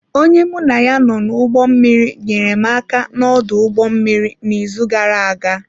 Onye mụ na ya nọ n’ụgbọ mmiri nyeere m aka n’ọdụ ụgbọ mmiri n’izu gara aga.